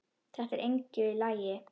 Þetta er engu lagi líkt.